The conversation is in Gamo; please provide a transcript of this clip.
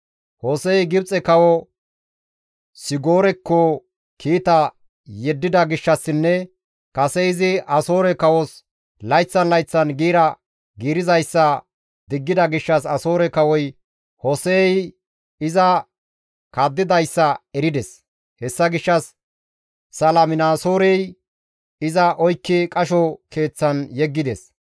Hose7ey Gibxe kawo Sigoorekko kiita yeddida gishshassinne kase izi Asoore kawos layththan layththan giira giirizayssa diggida gishshas Asoore kawoy Hose7ey iza kaddidayssa erides; hessa gishshas Saliminaasoorey iza oykki qasho keeththan yeggides.